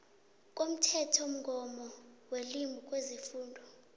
komthethomgomo welimi kwezefundo